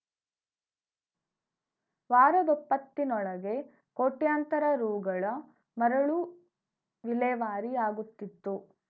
ವಾರದೊಪ್ಪತ್ತಿನೊಳಗೆ ಕೋಟ್ಯಂತರ ರುಗಳ ಮರಳು ವಿಲೇವಾರಿಯಾಗುತ್ತಿತ್ತು